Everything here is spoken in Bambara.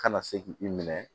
Kana se k'i minɛ